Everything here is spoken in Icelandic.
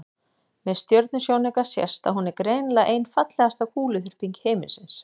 með stjörnusjónauka sést að hún er greinilega ein fallegasta kúluþyrping himinsins